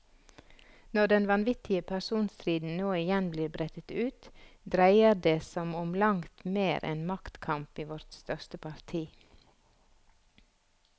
Når den vanvittige personstriden nå igjen blir brettet ut, dreier det som om langt mer enn maktkamp i vårt største parti.